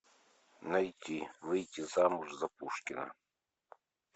найти выйти замуж за пушкина